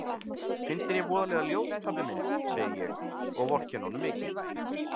Finnst þér ég voðalega ljót pabbi minn, segi ég og vorkenni honum mikið.